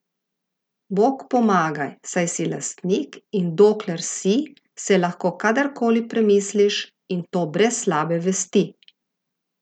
Bog pomagaj, saj si lastnik in dokler si, se lahko kadar koli premisliš, in to brez slabe vesti!